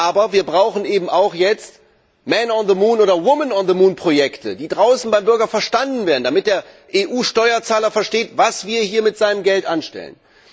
Aber wir brauchen eben auch jetzt oder Projekte, die draußen beim Bürger verstanden werden, damit der EU Steuerzahler versteht, was wir hier mit seinem Geld anstellen.